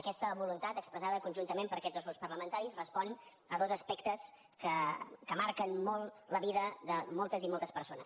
aquesta voluntat expressada conjuntament per aquests dos grups parlamentaris respon a dos aspectes que marquen molt la vida de moltes i moltes persones